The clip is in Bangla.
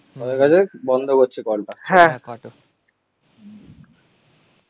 হ বন্ধ করছি কলটা.